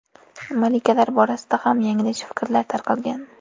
Malikalar borasida ham yanglish fikrlar tarqalgan.